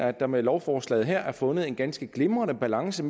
at der med lovforslaget her er fundet en ganske glimrende balance